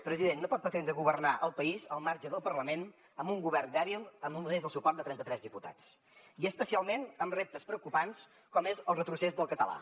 president no pot pretendre governar el país al marge del parlament amb un govern dèbil amb només el suport de trenta tres diputats i especialment amb reptes preocupants com és el retrocés del català